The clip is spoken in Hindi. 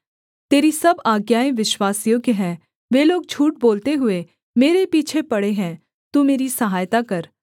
तेरी सब आज्ञाएँ विश्वासयोग्य हैं वे लोग झूठ बोलते हुए मेरे पीछे पड़े हैं तू मेरी सहायता कर